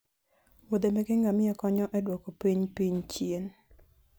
Wiodhe meke ngamia konyo e duoko piny piny chien